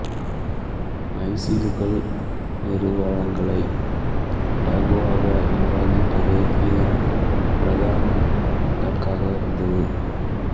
MySQL நிறுவல்களை இலகுவாக நிர்வாகிப்பதே இதன் பிரதான இலக்காக இருந்தது